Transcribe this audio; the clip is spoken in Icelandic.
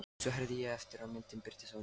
Svo herði ég aftur og myndin birtist á ný.